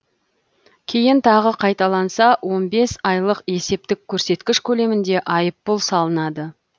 кейін тағы қайталанса он бес айлық есептік көрсеткіш көлемінде айыппұл салынады